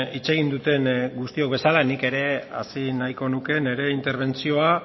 hitz egin duten guztiok bezala nik ere hasi nahiko nuke nire interbentzioa